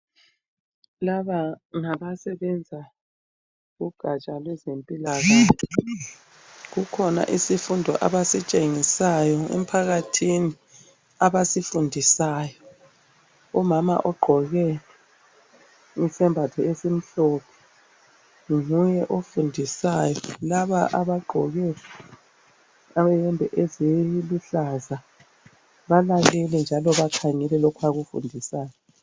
Laba ngabasebenza kugatsha lweze mpilakahle. Kukhona isifundo abasitshengisayi emphakathini abasifundisayo. Umama ogqoke isembatho esimhlophe nguye ofundisayo. Laba abagqoke iyembe eziluhlaza balalele njalo bakhangele lokho akufundisayo.